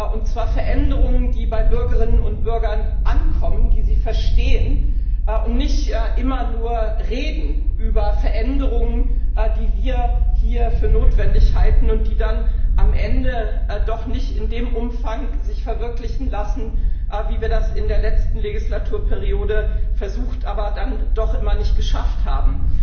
Und zwar Veränderungen, die bei Bürgerinnen und Bürgern ankommen, die sie verstehen, und nicht immer nur Reden über Veränderungen, die wir hier für notwendig halten und die sich dann am Ende doch nicht in dem Umfang verwirklichen lassen, wie wir das in der letzten Wahlperiode versucht, aber dann doch immer nicht geschafft haben.